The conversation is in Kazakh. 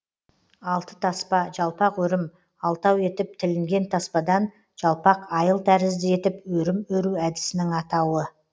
алты таспа жалпақ өрім алтау етіп тілінген таспадан жалпақ айыл тәрізді етіп өрім өру әдісінің атауы